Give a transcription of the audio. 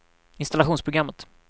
installationsprogrammet